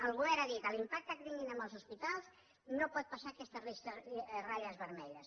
el govern ha dit l’impacte que tinguin en els hospitals no pot passar aquestes ratlles vermelles